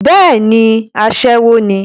bẹ́ẹ̀ni, asẹ́wọ ní